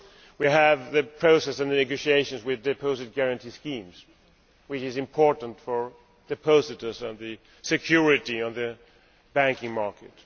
We have a process and negotiations with deposit guarantee schemes, which is important for depositors and for security in the banking market.